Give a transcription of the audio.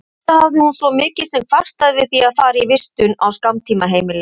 Aldrei hafði hún svo mikið sem kvartað yfir því að fara í vistun á skammtímaheimili.